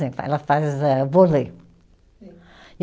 Ela faz âh, vôlei. Sim